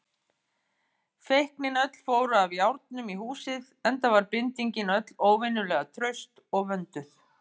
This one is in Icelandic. Feiknin öll fóru af járnum í húsið, enda var bindingin öll óvenjulega traust og vönduð.